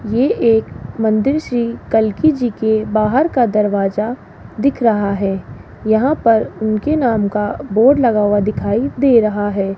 ये एक मंदिर श्री कल्की जी के बाहर का दरवाजा दिख रहा है यहां पर उनके नाम का बोर्ड लगा हुआ दिखाई दे रहा है।